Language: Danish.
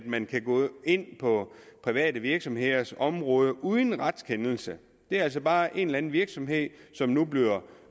man kan gå ind på private virksomheders område uden retskendelse det er altså bare en eller en virksomhed som nu bliver